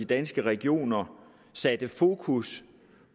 danske regioner satte fokus